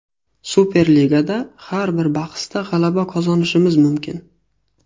Superligada har bir bahsda g‘alaba qozonishimiz mumkin.